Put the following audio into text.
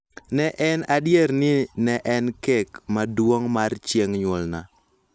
Ne en adier ni ne en kek maduong� mar chieng� nyuolna.